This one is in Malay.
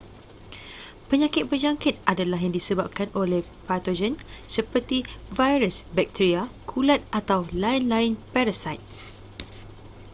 penyakit berjangkit adalah yang disebabkan oleh patogen seperti virus bacteria kulat atau lain-lain parasit